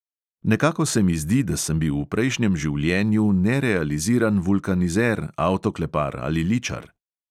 Nekako se mi zdi, da sem bil v prejšnjem življenju nerealiziran vulkanizer, avtoklepar ali ličar.